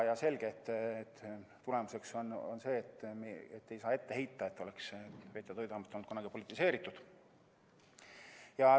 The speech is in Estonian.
Selge, et tulemus on see, et me ei saa ette heita, nagu oleks veterinaar‑ ja toiduamet olnud kunagi politiseeritud.